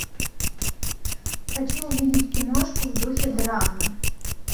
хочу увидеть киношку в духе драмы